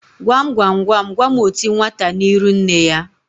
Gwam gwam gwam gwam oti nwata n'iru nne ya?